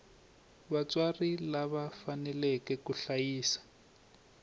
vatswari lava faneleke ku hlayisa